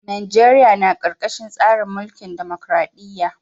Najeriya na karkashin tsarin mulkin dimokradiyya.